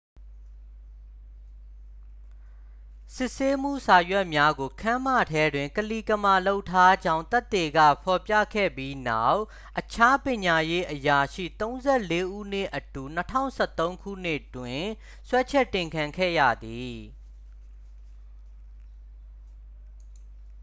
စစ်ဆေးမှု စာရွက်များကို ခန်းမထဲတွင် ကလီကမာလုပ်ထားကြောင်း သက်သေက ဖော်ပြခဲ့ပြီးနောက် အခြား ပညာရေးအရာရှိ 34 ဦးနှင့်အတူ 2013 တွင် စွဲချက်တင်ခံခဲ့ရသည်